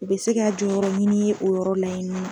U bi se ka jɔyɔrɔ ɲini ye o yɔrɔ la in nɔn